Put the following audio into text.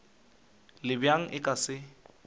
le bjang a ka se